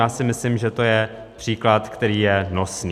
Já si myslím, že to je příklad, který je nosný.